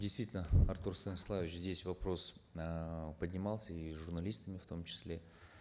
действительно артур станиславович здесь вопрос эээ поднимался и журналистами в том числе